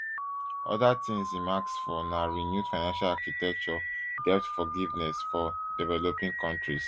oda tins im ask for na renewed financial architecture debt forgiveness for developing kontris